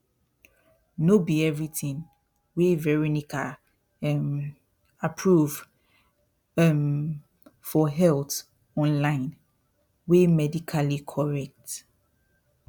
no be everything wey veronica um approve um for health online wey medically correct